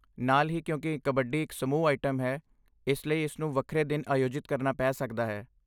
ਨਾਲ ਹੀ, ਕਿਉਂਕਿ ਕਬੱਡੀ ਇਕ ਸਮੂਹ ਆਈਟਮ ਹੈ, ਇਸ ਲਈ ਇਸ ਨੂੰ ਵੱਖਰੇ ਦਿਨ ਆਯੋਜਿਤ ਕਰਨਾ ਪੈ ਸਕਦਾ ਹੈ।